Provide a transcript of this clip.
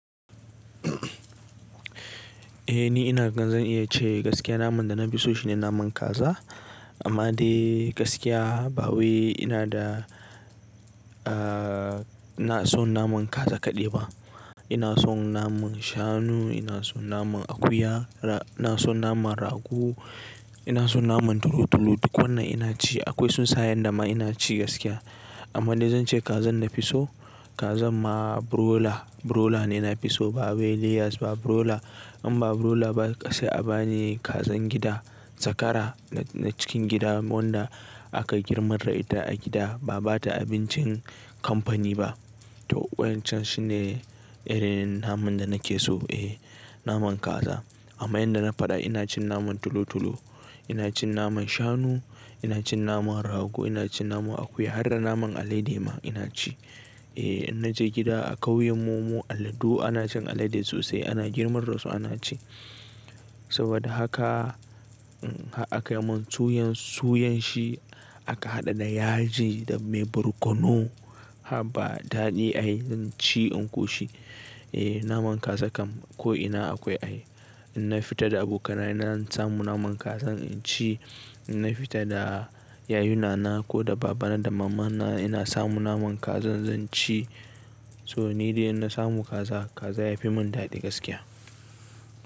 Eh ni ina gan zan iya ce gaskiya naman da na fi so shine naman kaza. Amma dai gaskiya ba wai ina da, aa ina son naman kaza kaɗai ba. Ina son naman Shanu, ina son naman Akuya, ra-- ina son naman Rago, ina son naman Tolo-Tolo, duk wannan ina ci. Akwai Tsunsayan da ma ina ci gaskiya. Amma dai zan ce Kazan na fi so, kazan ma Broiler, Broiler ne na fi so, ba wai Layers ba, Broiler. In ba Broiler ba sai a bani Kazan gida, Zakara na cikin gida wanda aka girmar da ita a gida, ba'a bata abincin kamfani ba. To wa'incan shine irin naman da nake so, eh naman Kaza. Amma yadda na faɗa ina cin naman Tolo-Tolo, ina cin naman Shanu, ina cin naman Rago, ina cin naman Akuya, har da naman Alade ma ina ci. Eh in naje gida a kauyen mu, mu Alladu ana cin alade sosai, ana girmar da su, ana ci. Saboda haka, um har aka yi mun tsuyan-- tsuyan shi, aka haɗa da yaji, da mai barkono haba daɗi ai zan ci in ƙoshi. Eh naman Kaza kam ko ina akwai ai. In na fita da abokaina zan samu naman kaza in ci. In na fita da yayunana ko da babana da mamana ina samu naman Kaza zan ci. So ni dai in na samu kaza, kaza ya fi mun daɗi gaskiya.